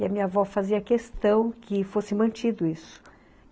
E a minha avó fazia questão que fosse mantido isso.